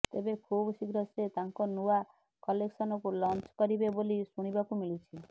ତେବେ ଖୁବଶୀଘ୍ର ସେ ତାଙ୍କ ନୁଆ କଲେକ୍ସନକୁ ଲଞ୍ଚ କରିବେ ବୋଲି ଶୁଣିବାକୁ ମିଳୁଛି